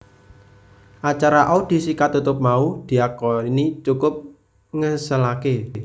Acara audisi katutup mau diakoni cukup ngeselaké